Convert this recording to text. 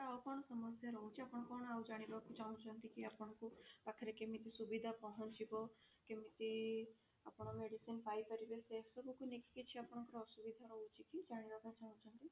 ଆଉ କଣ ସମସ୍ୟା ରହୁଛି କଣ ଆଉ ଜାଣିବାକୁ ଚାହୁଁଛନ୍ତି କି ଆପଣଙ୍କ ପାଖରେ କେମିତି ସୁବିଧା ପହଞ୍ଚିବ କେମିତି ଆପଣ medicine ପାଇ ପାରିବେ ସେ ସବୁ କୁ ନେଇ ଆପଣଙ୍କର କିଛି ଅସୁବିଧା ରହୁଛି କି ଜାଣିବାକୁ ଚାହୁଁଛନ୍ତି?